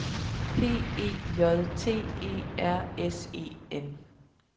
P E J T E R S E N